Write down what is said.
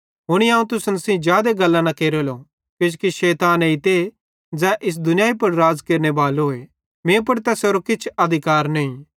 हुनी अवं तुसन सेइं जादे गल्लां न केरेलो किजोकि शैतान एइते ज़ै इस दुनियाई पुड़ राज़ केरनेबालोए मीं पुड़ तैसेरो किछ अधिकार नईं